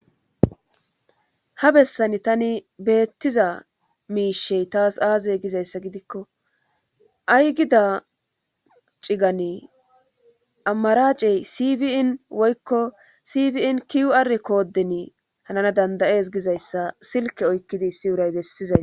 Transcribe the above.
Ha bessan tani beettiza miishey taas aazey gizayssa gidikko ay gida cigani amaracey sibiin woykko sibiin kiyu7ar koodin hanana dandayees gizayssa silke oykkidi issi wuray bessizays.